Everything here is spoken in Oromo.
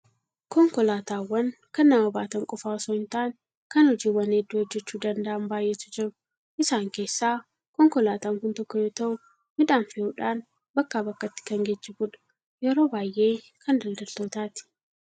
Konkolaataawwan kan nama baatan qofaa osoo hin taane, kan hojiiwwan hedduu hojjechuu danda'an baay'eetu jiru. Isaan keessaa konkolaataan kun tokko yoo ta'u, midhaan fe'uudhaan bakkaa bakkatti kan geejjibudha. Yeroo baay'ee kan daldaltootaati.